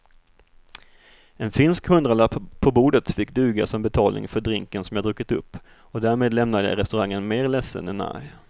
En finsk hundralapp på bordet fick duga som betalning för drinken som jag druckit upp och därmed lämnade jag restaurangen mer ledsen än arg.